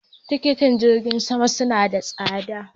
Tikitin jirgin sama suna da tsada.